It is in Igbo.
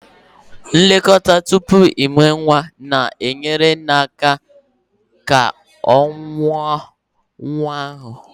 Nlekọta tupu ịmụ nwa na-enyere nne aka ịkwado nwa ahụ.